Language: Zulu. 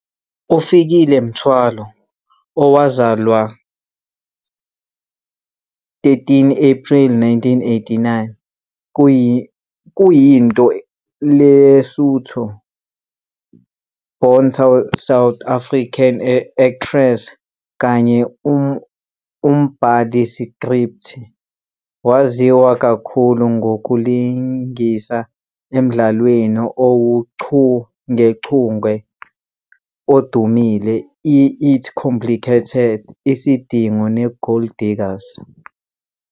UFikile Mthwalo, owazalwa 13 Apreli 1989, kuyinto Lesotho -born South African actress kanye umbhali iskripthi. Waziwa kakhulu ngokulingisa emdlalweni owuchungechunge odumile i- "It's Complicated", "Isidingo" "neGold Diggers".